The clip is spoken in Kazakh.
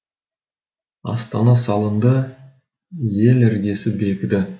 астана салынды ел іргесі бекіді